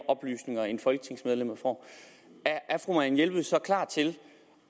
oplysninger end folketingsmedlemmer får er fru marianne jelved så klar til